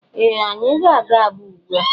Ee! Anyị ga-aga Aba ugbu a.